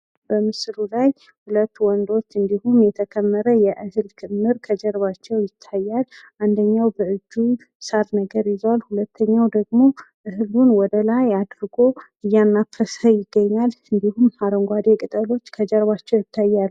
በምስሉ ላይ ሀለት ሰዎች እንድሁ የተከመረ ትልቅ ክምር ከጀርባቸው ይታያል። አንደኛው በእጁ ሳር ነገር ይዟል ሁለተኛው መንሹን ወደላይ አድርጎ እያናፈሰ ይገኛል። እንድሁም አረንጓዴ ቅጠሎች ከጀርባቸው ይታያሉ።